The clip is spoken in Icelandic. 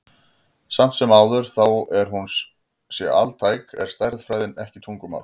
Samt sem áður, þó að hún sé altæk, er stærðfræðin ekki tungumál.